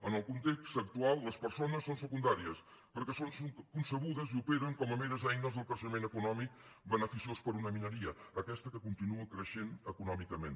en el context actual les persones són secundàries perquè són concebudes i operen com meres eines del creixement econòmic beneficiós per a una minoria aquesta que continua creixent econòmicament